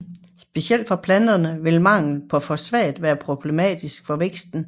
Specielt for planterne vil mangel på fosfat være problematisk for væksten